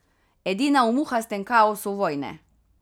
Edina v muhastem kaosu vojne.